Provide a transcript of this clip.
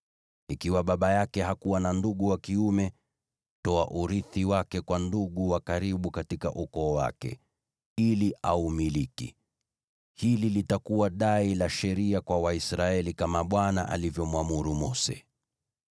Ikiwa baba yake hakuwa na ndugu wa kiume, toa urithi wake kwa ndugu wa karibu katika ukoo wake, ili aumiliki. Hili litakuwa dai la sheria kwa Waisraeli, kama Bwana alivyomwamuru Mose.’ ”